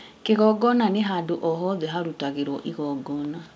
kĩgongona nĩ handũ o hothe hararũtĩwo igongona